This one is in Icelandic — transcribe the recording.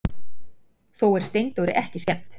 Þó er Steindóri ekki skemmt.